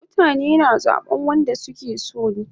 Mutane na zaban wanda suke so